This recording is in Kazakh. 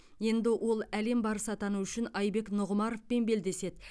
енді ол әлем барысы атану үшін айбек нұғымаровпен белдеседі